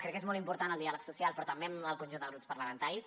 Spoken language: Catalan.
crec que és molt important el diàleg social però també amb el conjunt de grups parlamentaris